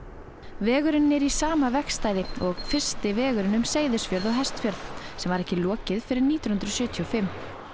vegurinn er í sama vegstæði og fyrsti vegurinn um Seyðisfjörð og Hestfjörð sem var ekki lokið fyrr en nítján hundruð sjötíu og fimm